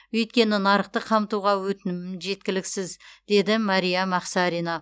өйткені нарықты қамтуға өтінімім жеткіліксіз дейді мәриям ақсарина